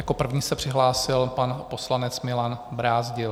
Jako první se přihlásil pan poslanec Milan Brázdil.